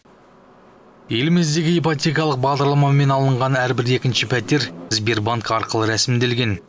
еліміздегі ипотекалық бағдарламамен алынған әрбір екінші пәтер сбербанк арқылы рәсімделген